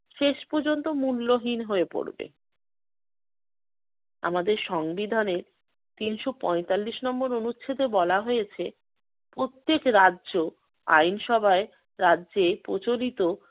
শেষ পর্যন্ত মূল্যহীন হয়ে পড়বে। আমাদের সংবিধানে তিনশ পঁয়তাল্লিশ নম্বর অনুচ্ছেদে বলা হয়েছে, প্রত্যেক রাজ্য আইনসভায় রাজ্যে প্রচলিত